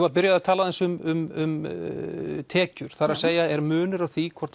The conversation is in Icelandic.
að byrja að tala aðeins um tekjur það er að segja er munur á því hvort